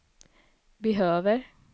behöver